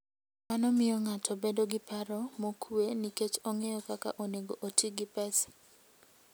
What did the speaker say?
Mano miyo ng'ato bedo gi paro mokuwe nikech ong'eyo kaka onego oti gi pesa.